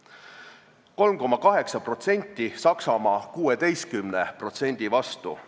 – 3,8% Saksamaa 16% vastu.